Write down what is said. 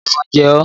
Ṣé ẹ̀fọn jẹ ọ́?